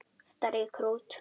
Þetta rýkur út.